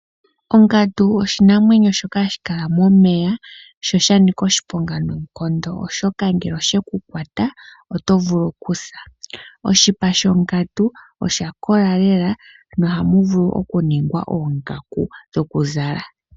Ongandu oshinamwenyo shoka hashi kala momeya sho osha nika oshiponga noonkondo oshoka ngele osheku kwata oto vulu okusa. Oshipa shongandu osha kola lela no hamu vulu oku ningwa oongaku dhoku zala.